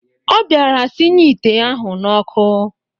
Ọ bịara sinye ite ahụ n'ọkụ